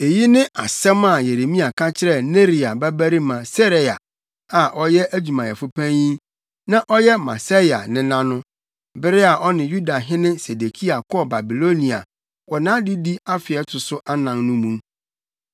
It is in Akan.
Eyi ne asɛm a Yeremia ka kyerɛɛ Neria babarima Seraia a ɔyɛ adwumayɛfo panyin na ɔyɛ Maseia nena no, bere a ɔne Yudahene Sedekia kɔɔ Babilonia wɔ nʼadedi afe a ɛto so anan no mu.